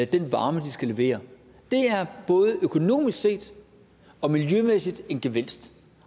den varme de skal levere det er både økonomisk og miljømæssigt set en gevinst